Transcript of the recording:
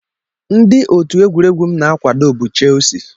Ndị otu egwuregwu m na-akwado bụ Chelsea